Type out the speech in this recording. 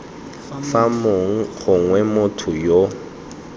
fa mong gongwe motho yo